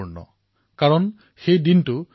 ওচৰকাষৰীয়া মাছমৰীয়াসকলেও তেওঁলোকক সহায় কৰিছে